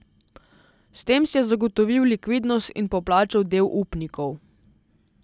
S tem si je zagotovil likvidnost in poplačal del upnikov.